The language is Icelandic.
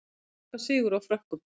Tólf marka sigur á Frökkum